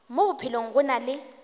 mo bophelong go na le